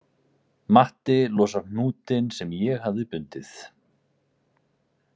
Matti losar hnútinn sem ég hafði bundið